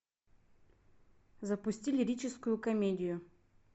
запусти лирическую комедию